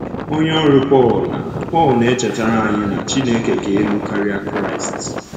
Onye ọrụ Pọl na Pọl na -echetara anyị na “Chineke ka elu karịa Kraịst .”